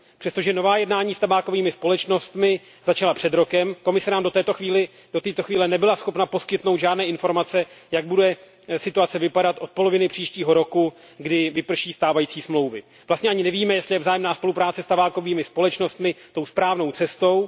Přestože nová jednání s tabákovými společnostmi začala před rokem, Komise nám do této chvíle nebyla schopna poskytnout žádné informace, jak bude situace vypadat od poloviny příštího roku, kdy vyprší stávající smlouvy. Vlastně ani nevíme, jestli je vzájemná spolupráce s tabákovými společnostmi tou správnou cestou.